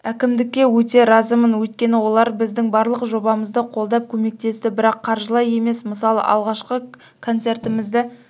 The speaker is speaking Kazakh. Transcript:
әкімдікке өте разымын өйткені олар біздің барлық жобамызды қолдап көмектесті бірақ қаржылай емес мысалы алғашқы концертімізді